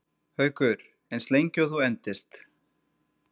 Haukur: Eins lengi og þú endist?